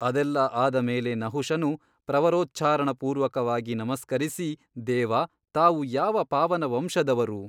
ಅದೆಲ್ಲ ಆದಮೇಲೆ ನಹುಷನು ಪ್ರವರೋಚ್ಚಾರಣಪೂರ್ವಕವಾಗಿ ನಮಸ್ಕರಿಸಿ ದೇವಾ ತಾವು ಯಾವ ಪಾವನ ವಂಶದವರು?